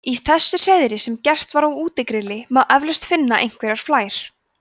í þessu hreiðri sem gert var á útigrilli má eflaust finna einhverjar flær